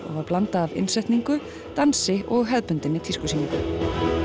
og var blanda af innsetningu dansi og hefðbundinni tískusýningu